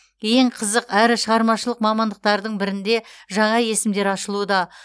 ең қызық әрі шығармашылық мамандықтардың бірінде жаңа есімдер ашылуда